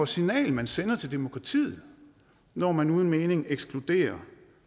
signal man sender til demokratiet når man uden mening ekskluderer